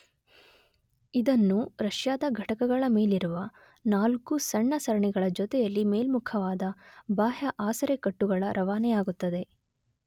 ಇದನ್ನು ರಷ್ಯಾದ ಘಟಕಗಳ ಮೇಲಿರುವ ನಾಲ್ಕು ಸಣ್ಣ ಸರಣಿಗಳ ಜೊತೆಯಲ್ಲಿ ಮೇಲ್ಮುಖವಾದ ಬಾಹ್ಯ ಆಸರೆ ಕಟ್ಟುಗಳ ರವಾನೆಯಾಗುತ್ತದೆ